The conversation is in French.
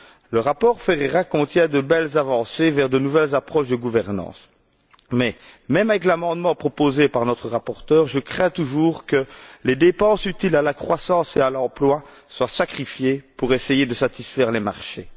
Le rapport Ferreira contient de belles avancées vers de nouvelles approches de gouvernance mais, même avec l'amendement proposé par notre rapporteure, je crains toujours que les dépenses utiles à la croissance et à l'emploi soient sacrifiées pour essayer de satisfaire les marchés.